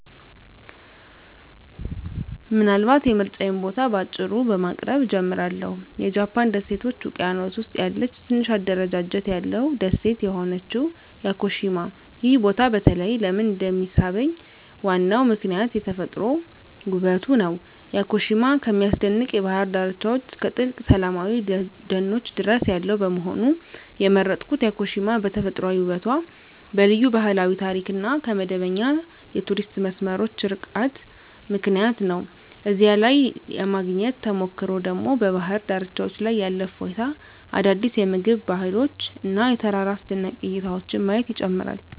ምናልባት የምርጫዬን ቦታ በአጭሩ በማቅረብ እጀምራለሁ -የጃፓን ደሴቶች ውቅያኖስ ውስጥ ያለ ትንሽ አደረጃጀት ያለው ደሴት የሆነችው ያኮሺማ። ይህ ቦታ በተለይ ለምን እንደሚሳብኝ ዋናው ምክንያት የተፈጥሮ ውበቱ ነው። ያኮሺማ ከሚያስደንቅ የባህር ዳርቻዎች እስከ ጥልቅ ሰላማዊ ደኖች ድረስ ያለው በመሆኑ። የመረጥኩት ያኮሺማ በተፈጥሯዊ ውበቷ፣ በልዩ ባህላዊ ታሪክ እና ከመደበኛ የቱሪስት መስመሮች ርቃታ ምክንያት ነው። እዚያ ላይ የማግኘት ተሞክሮ ደግሞ በባህር ዳርቻዎች ላይ ያለ እፎይታ፣ አዳዲስ የምግብ ባህሎች እና የተራራ አስደናቂ እይታዎችን ማየት ይጨምራል።